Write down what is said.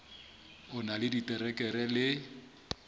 o na le diterekere le